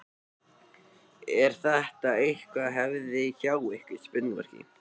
Er þetta einhver hefð hjá ykkur?